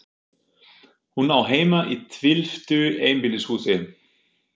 Hún á heima í tvílyftu einbýlishúsi.